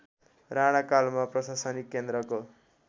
राणाकालमा प्रशासनिक केन्द्रको